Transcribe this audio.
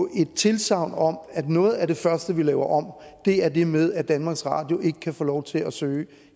at give tilsagn om at noget af det første vi laver om er det med at danmarks radio ikke kan få lov til at søge